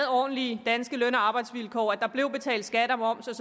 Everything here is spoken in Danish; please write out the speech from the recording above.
ordentlige danske løn og arbejdsvilkår at der blev betalt skat og moms